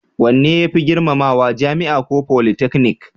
Wanne ya fi girmamawa, jami'a ko politeknik?